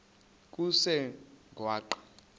kusengwaqa